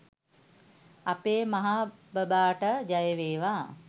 අපේ මහාබබාට ජයවේවා